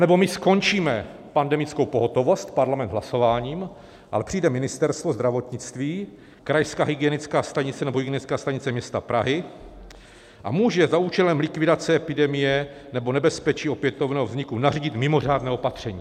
Anebo my skončíme pandemickou pohotovost, Parlament, hlasováním, ale přijde Ministerstvo zdravotnictví, Krajská hygienická stanice nebo Hygienická stanice města Prahy a může za účelem likvidace epidemie nebo nebezpečí opětovného vzniku nařídit mimořádné opatření.